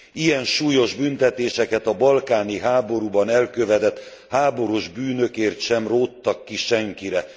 Ilyen súlyos büntetéseket a balkáni háborúban elkövetett háborús bűnökért sem róttak ki senkire.